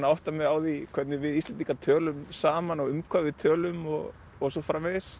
að átta mig á því hvernig við Íslendingar tölum saman og um hvað við tölum og og svo framvegis